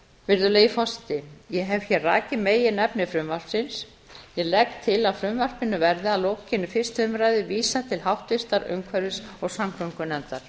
virðulegi forseti ég hef hér rakið meginefni frumvarpsins ég legg til að frumvarpinu verði að lokinni fyrstu umræðu vísað til háttvirtrar umhverfis og samgöngunefndar